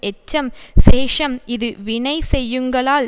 எச்சம் சேஷம் இது வினைசெய்யுங்கால்